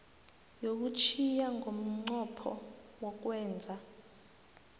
yokuthiya ngomnqopho wokwenza